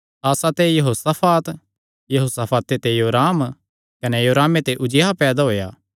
आसा ते यहोशाफात यहोशाफाते ते योराम कने योरामे दा पोतरू उज्जियाह पैदा होएया